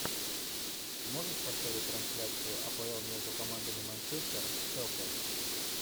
можешь поставить трансляцию апл между командами манчестер шеффилд